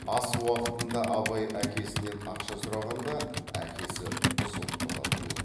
ас уақытында абай әкесінен ақша сұрағанда әкесі ызғұттыға бұрылып